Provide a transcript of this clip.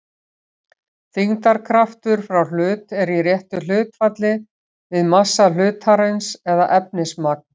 Þyngdarkraftur frá hlut er í réttu hlutfalli við massa hlutarins eða efnismagn.